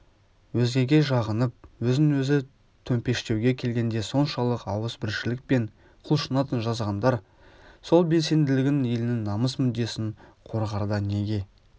өзгеге жағынып өзін өзі төмпештеуге келгенде соншалық ауыз біршілікпен құлшынатын жазғандар сол белсенділігін елінің намыс мүддесін қорғарда неге